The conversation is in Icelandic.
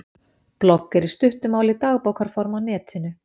Blogg er í stuttu máli dagbókarform á netinu.